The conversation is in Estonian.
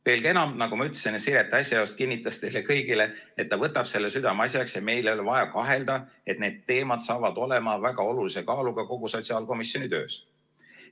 Veelgi enam, nagu ma ütlesin, Siret äsja just kinnitas teile kõigile, et ta võtab selle südameasjaks ja meil ei ole vaja kahelda, et need teemad saavad olema väga olulise kaaluga kogu sotsiaalkomisjoni töös.